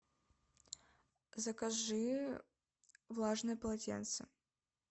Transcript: закажи влажные полотенца